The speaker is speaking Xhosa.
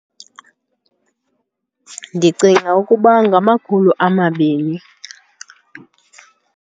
Ndicinga ukuba ngamakhulu amabini.